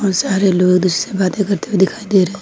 सारे लोग एक दूसरे से बातें करते हुए दिखाई दे रहे--